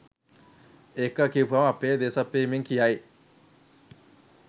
එක කියපුවම අපේ දේශප්‍රේමීන් කියයි